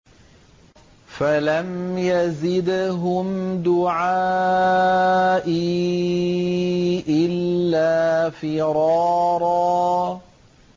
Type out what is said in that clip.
فَلَمْ يَزِدْهُمْ دُعَائِي إِلَّا فِرَارًا